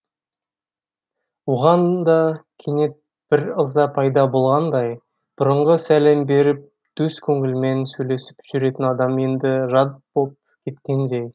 оған да кенет бір ыза пайда болғандай бұрынғы сәлем беріп дөс көңілімен сөйлесіп жүретін адам енді жат боп кеткендей